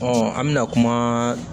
an bɛna kuma